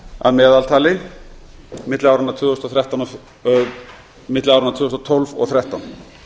að meðaltali milli áranna tvö þúsund og tólf og tvö þúsund og þrettán